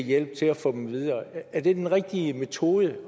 hjælp til at få dem videre er det den rigtige metode